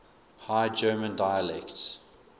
high german dialects